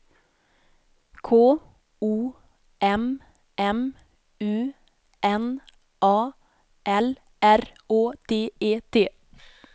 K O M M U N A L R Å D E T